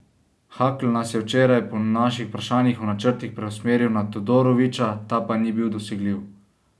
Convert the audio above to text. Hakl nas je včeraj po naših vprašanjih o načrtih preusmeril na Todorovića, ta pa ni bil dosegljiv.